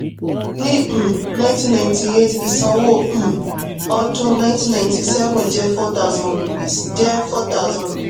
ní um ninety ninety-eight ìsanwó um ọdún ninety ninety-seven jẹ́ four thousand rupees jẹ́ four thousand